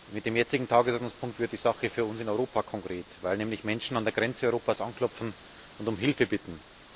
Mit dem jetzigen Tagesordnungspunkt wird die Sache für uns in Europa konkret, weil nämlich Menschen an der Grenze Europas anklopfen und um Hilfe bitten.